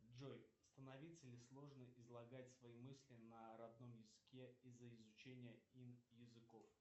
джой становится ли сложно излагать свои мысли на родном языке из за изучения ин языков